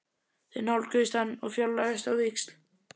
Þeir nálguðust hann og fjarlægðust á víxl.